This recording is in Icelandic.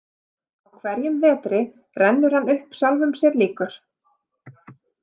Á hverjum vetri rennur hann upp sjálfum sér líkur.